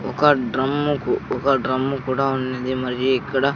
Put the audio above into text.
ఒక డ్రమ్ము కు ఒక డ్రమ్ము కూడా ఉంది. మరియు ఇక్కడ --